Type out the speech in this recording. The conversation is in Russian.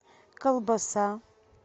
колбаса